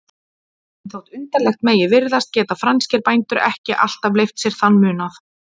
En þótt undarlegt megi virðast geta franskir bændur ekki alltaf leyft sér þann munað.